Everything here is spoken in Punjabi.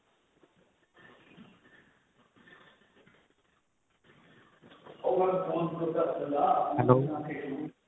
hello